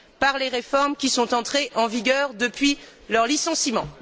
par les réformes qui sont entrées en vigueur depuis leur licenciement.